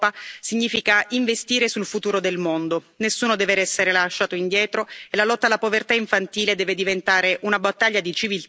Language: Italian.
Nessuno deve essere lasciato indietro e la lotta alla povertà infantile deve diventare una battaglia di civiltà per l'affermazione dei diritti fondamentali di ogni minore.